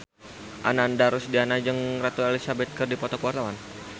Ananda Rusdiana jeung Ratu Elizabeth keur dipoto ku wartawan